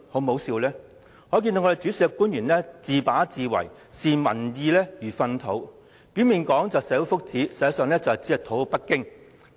由此可見，主事的官員自把自為，視民意如糞土，表面說為了社會福祉，實際上只為討好北京。